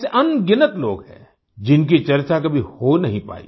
ऐसे अनगिनत लोग हैं जिनकी चर्चा कभी हो नहीं पाई